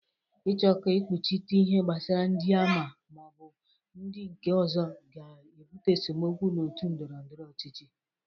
Ịchọ ka ekpuchite ihe kpasara ndị a ma ọ bụ ndị nke ọzọ ga-ebụte esemokwu na otu ndọrọndọrọ ọchịchị.